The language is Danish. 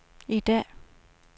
i dag